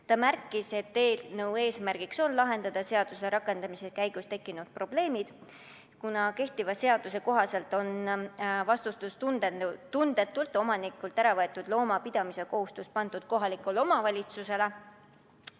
Ta märkis, et eelnõu eesmärk on lahendada seaduse rakendamise käigus tekkinud probleemid, kuna kehtiva seaduse kohaselt on vastutustundetult omanikult äravõetud looma pidamise kohustus pandud kohalikule omavalitsusele.